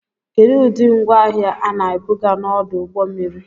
Kedu ụdị ngwaahịa a na-ebuga n'ọdụ ụgbọ mmiri